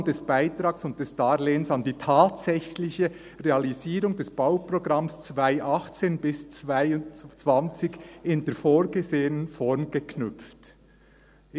]dass die Auszahlung des Beitrags und des Darlehens an die tatsächliche Realisierung des Bauprogramms 2018–2022 in der vorgesehenen Form geknüpft ist.